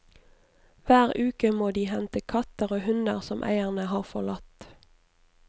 Hver uke må de hente katter og hunder som eierne har forlatt.